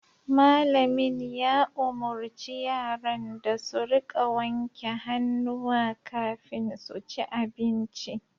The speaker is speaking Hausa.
Malamin ya umurci yaran da su rika wanke hannuwa kafin su ci abinci